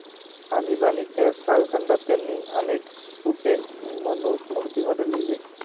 आणिबाणीच्या कालखंडात त्यांनी अनेक स्फुटे मनुस्मृतीमध्ये लिहिली.